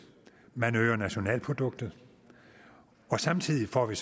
man øger nationalproduktet og samtidig får vi